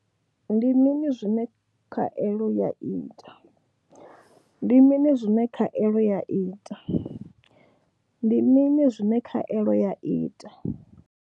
Ndi mini zwine khaelo ya ita. Ndi mini zwine khaelo ya ita. Ndi mini zwine khaelo ya ita.